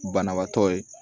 Banabaatɔ ye